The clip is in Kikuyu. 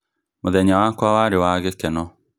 Mũthenya wakwa warĩ wa gĩkeno